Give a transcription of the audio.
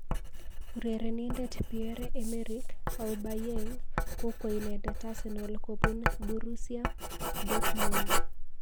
Urerenindet Pierre Emerick Aubamayeng kokwo inendet Arsenal kobun Borussia Dourtmund.